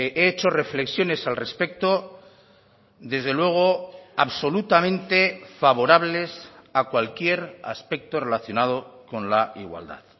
he hecho reflexiones al respecto desde luego absolutamente favorables a cualquier aspecto relacionado con la igualdad